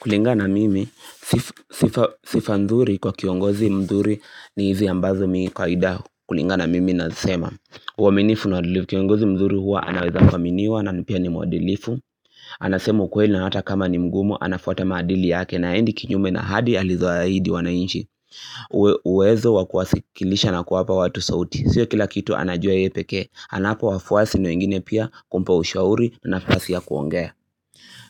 Kulingana na mimi, sifa nzuri kwa kiongozi mzuri ni hizi ambazo mi kawaida. Kulingana na mimi nazisema. Uwaminifu na wadilifu. Kiongozi mzuri huwa anaweza kuaminiwa na nipia ni mwadilifu. Anasema ukweli na hata kama ni mgumu, anafuata maadili yake na haendi kinyume na ahadi alizohaidi wanainchi. Uwezo wa kawasikilisha na kuwapa watu sauti. Sio kila kitu anajua yeye peke. Anawapa wafuasi na wengine pia kumpa ushauri nafasi ya kuongea.